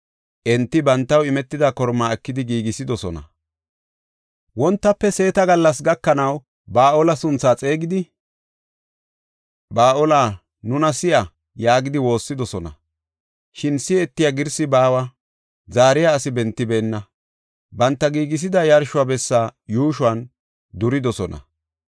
Enti bantaw imetida kormaa ekidi giigisidosona. Wontafe seeta gallas gakanaw Ba7aale sunthaa xeegidi, “Ba7aale, nuna si7a” yaagidi woossidosona. Shin si7etiya girsi baawa; zaariya asi bentibeenna. Banta giigisida yarsho bessa yuushuwan duridosona.